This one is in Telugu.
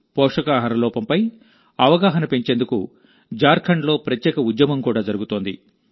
పోషకాహార లోపంపై అవగాహన పెంచేందుకు జార్ఖండ్లో ప్రత్యేక ఉద్యమం కూడా జరుగుతోంది